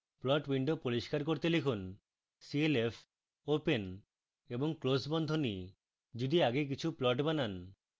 plot window পরিষ্কার করতে লিখুন clf open এবং close বন্ধনীতে যদি আগে কিছু plot বানান